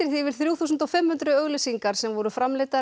yfir þrjú þúsund og fimm hundruð auglýsingar sem voru framleiddar